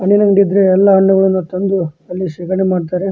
ಹಣ್ಣುಗಳಿದ್ರೆ ಎಲ್ಲ ಹಣ್ಣುಗಳ ಒಂದು ಶಿಬಿರ ಮಾಡ್ತಾರೆ.